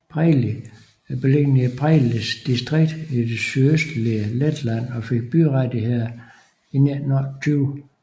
Preiļi er beliggende i Preiļis distrikt i det sydøstlige Letland og fik byrettigheder i 1928